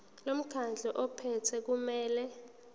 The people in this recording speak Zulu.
lomkhandlu ophethe kumele